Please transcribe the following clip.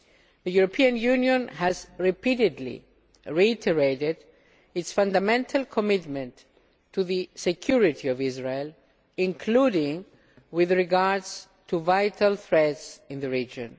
The European Union has repeatedly reiterated its fundamental commitment to the security of Israel, including with regard to vital threats in the region.